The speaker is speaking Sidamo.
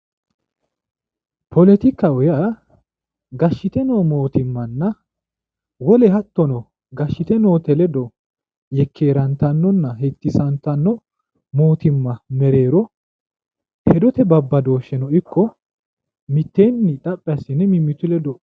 poletikaho yaa gashshite no mootimmanna wole hattono gashshite noote ledo yekkeerantannonna hettisantanno mootimma mereero hedote babbadooshsheno ikko mitteenni xaphi asse woyi mimitu ledo ...